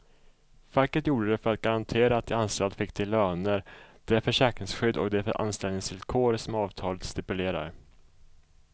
Facket gjorde det för att garantera att de anställda fick de löner, det försäkringsskydd och de anställningsvillkor som avtalet stipulerar.